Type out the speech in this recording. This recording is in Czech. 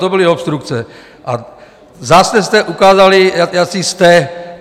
To byly obstrukce, a zase jste ukázali, jací jste.